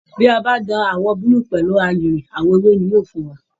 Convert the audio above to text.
Bí a bá da àwọn búlúù pọ̀ mọ́ àyìnrín, àwọn ewé ni yóò fún wa